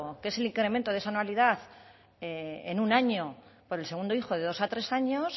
que es el incremento de esa anualidad en un año por el segundo hijo de dos a tres años